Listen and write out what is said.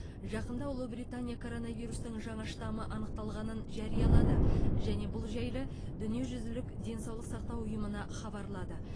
жақында ұлыбритания коронавирустың жаңа штаммы анықталғанын жариялады және бұл жайлы дүниежүзілік денсаулық сақтау ұйымына хабарлады